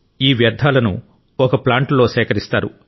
ఎఏ వ్యర్థాలను ఒక ప్లాంట్ లో సేకరిస్తారు